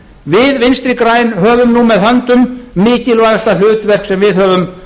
við vinstri græn höfum nú með höndum mikilvægasta hlutverk sem við höfum